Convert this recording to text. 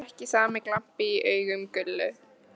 Þó er ekki sami glampi í augum Gullu